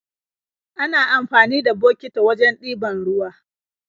Ana amfani da bokiti wajen ɗiban ruwa